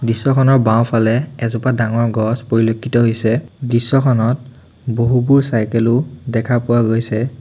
দৃশ্যখনৰ বাওঁফালে এজোপা ডাঙৰ গছ পৰিলক্ষিত হৈছে দৃশ্যখনত বহুতো চাইকেল ও দেখা পোৱা গৈছে।